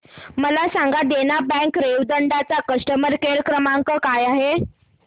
मला सांगा देना बँक रेवदंडा चा कस्टमर केअर क्रमांक काय आहे